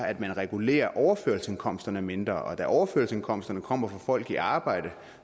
at man regulerer overførselsindkomsterne mindre og da overførselsindkomsterne kommer fra folk i arbejde